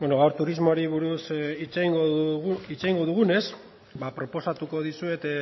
gaur turismoari buruz hitz egingo dugunez proposatuko dizuet